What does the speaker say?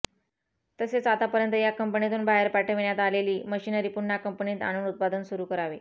तसेच आतापर्यंत या कपंनीतून बाहेर पाठविण्यात आलेली मशीनरी पुन्हा कंपनीत आणून उत्पादन सुरु करावे